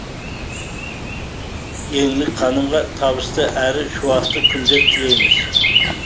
еңлік ханымға табысты әрі шуақты күндер тілейміз